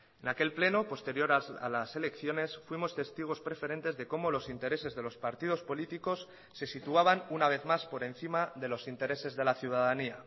en aquel pleno posterior a las elecciones fuimos testigos preferentes de cómo los intereses de los partidos políticos se situaban una vez más por encima de los intereses de la ciudadanía